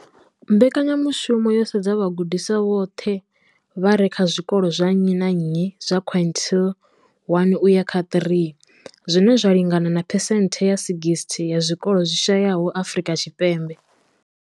Mbekanyamushumo yo sedza vhagudiswa vhoṱhe vha re kha zwikolo zwa nnyi na nnyi zwa quintile 1 uya kha 3, zwine zwa lingana na phesenthe dza 60 ya zwikolo zwi shayesaho Afrika Tshipembe.